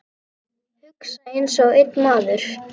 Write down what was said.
Hugsa einsog einn maður.